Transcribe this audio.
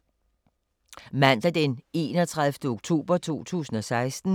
Mandag d. 31. oktober 2016